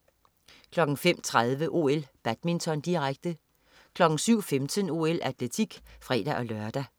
05.30 OL: Badminton, direkte 07.15 OL: Atletik (fre-lør)